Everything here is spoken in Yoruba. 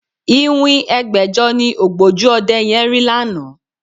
Iwin ẹgbẹ̀jọ ni ògbójú ọdẹ yẹn rí lánàá